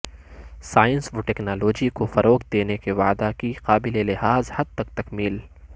science و technology کو فروغ دینے کے وعدہ کی قابل لحاظ حد تک تکمیل